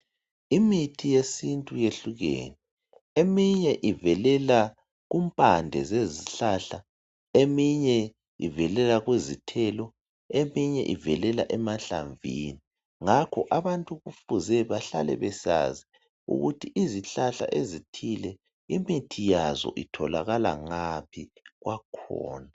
Imithi yesintu yehlukene eminye ivelela empandeni zezihlahla eminye ivelela kuzithelo eminye ivelela emahlamvini ngakho abantu kufuze behlale besazi ukuthi izihlahla ezithile imithi yazo itholakala ngaphi kwakhona